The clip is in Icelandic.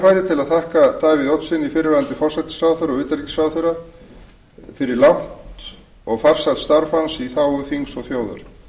að þakka davíð oddssyni fyrrverandi forsætisráðherra og utanríkisráðherra fyrir langt og farsælt starf hans í þágu þings og þjóðar